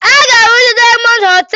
Aga arụzi Dayamọnd hotel.